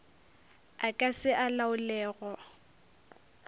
a ka se a laolego